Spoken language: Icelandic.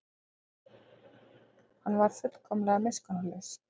Hann var fullkomlega miskunnarlaus.